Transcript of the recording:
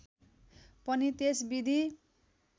पनि त्यस विधि